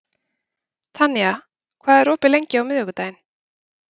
Tanía, hvað er opið lengi á miðvikudaginn?